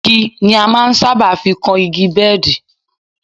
Igi ni a máa ń sábà fi kan igi bẹ́ẹ̀dì